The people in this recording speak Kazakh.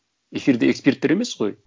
эфирде эксперттер емес қой